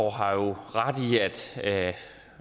har jo ret i at